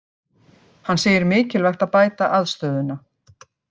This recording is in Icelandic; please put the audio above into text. Hann segir mikilvægt að bæta aðstöðuna